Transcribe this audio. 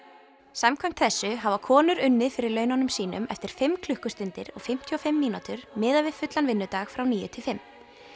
samkvæmt þessu hafa konur unnið fyrir laununum sínum eftir fimm klukkustundir og fimmtíu og fimm mínútur miðað við fullan vinnudag frá níu til fimm